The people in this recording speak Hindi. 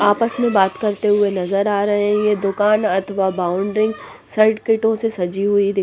आपस में बात करते हुए नजर आ रहे हैं ये दुकान अथवा बाउंडरिं ग सर्किटों से सजी हुई--